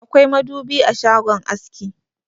Akwai madubi a shagon aski.